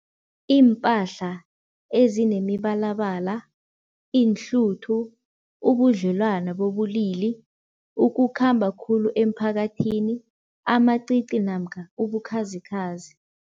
Iimpahla ezinemibalabala, iinhluthu, ubudlelwana bobulili, ukukhamba khulu emphakathini, amacici namkha ubukhazikhazi.